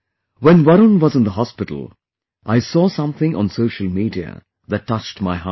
When Varun was in the hospital, I saw something on social media that touched my heart